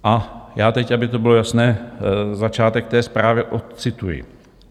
A já teď, aby to bylo jasné, začátek té zprávy ocituji.